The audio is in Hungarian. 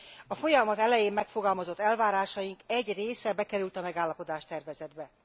A folyamat elején megfogalmazott elvárásaink egy része bekerült a megállapodás tervezetbe.